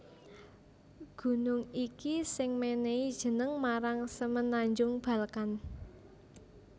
Gunung iki sing mènèhi jeneng marang Semenanjung Balkan